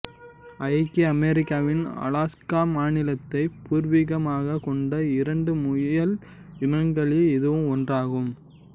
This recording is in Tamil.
ஐக்கிய அமெரிக்காவின் அலாஸ்கா மாநிலத்தை பூர்வீகமாக கொண்ட இரண்டு முயல் இனங்களில் இதுவும் ஒன்றாகும்